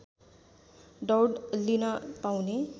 दौड लिन पाउने